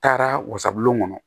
Taara wasabulon kɔnɔ